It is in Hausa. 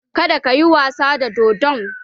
Kada ka yi wasa da dodon